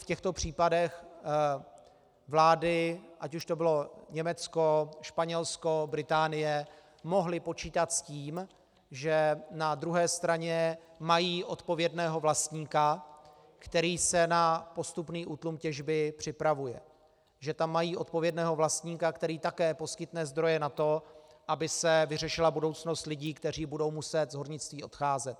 V těchto případech vlády, ať už to bylo Německo, Španělsko, Británie, mohly počítat s tím, že na druhé straně mají odpovědného vlastníka, který se na postupný útlum těžby připravuje, že tam mají odpovědného vlastníka, který také poskytne zdroje na to, aby se vyřešila budoucnost lidí, kteří budou muset z hornictví odcházet.